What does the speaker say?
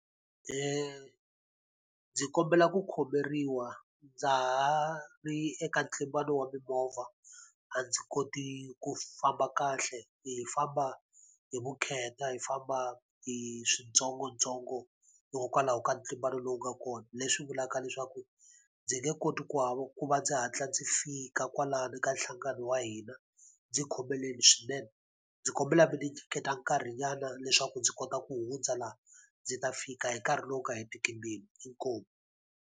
Ndzi kombela ku khomeriwa ndza ha ri eka ntlimbano wa mimovha, a ndzi koti ku famba kahle hi famba hi vukheta, hi famba hi swintsongontsongo, hikokwalaho ka ntlimbano lowu nga kona. Leswi vulaka leswaku ndzi nge koti ku ku va ndzi hatla ndzi fika kwalano ka nhlangano wa hina, ndzi khomeleni swinene. Ndzi kombela mi ndzi nyiketa nkarhinyana leswaku ndzi kota ku hundza laha, ndzi ta fika hi nkarhi lowu nga hetiki mbilu. Inkomu.